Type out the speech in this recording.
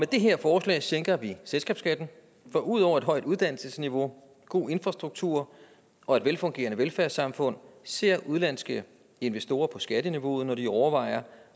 det her forslag sænker vi selskabsskatten for ud over et højt uddannelsesniveau god infrastruktur og et velfungerende velfærdssamfund ser udenlandske investorer på skatteniveauet når de overvejer